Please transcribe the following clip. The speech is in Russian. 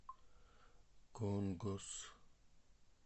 конгос